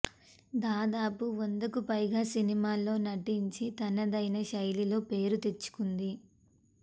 దాదాపు వందకు పైగా సినిమాల్లో నటించి తనదైన శైలిలో పేరు తెచ్చుకుంది